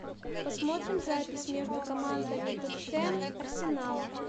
посмотрим запись между командами тоттенхэм арсенал